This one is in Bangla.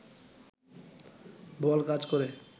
বল কাজ করে